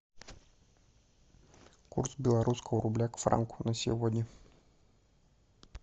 курс белорусского рубля к франку на сегодня